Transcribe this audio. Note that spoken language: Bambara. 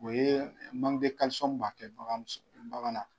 O ye b'a kɛ baganmuso bagan na.